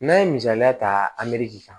N'an ye misaliya ta kan